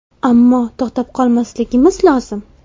Ammo, to‘xtab qolmasligimiz lozim.